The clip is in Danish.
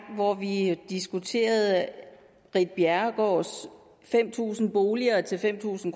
hvor vi diskuterede ritt bjerregaards fem tusind boliger til fem tusind